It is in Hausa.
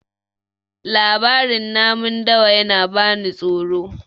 labarin namun dawa yana bani tsoro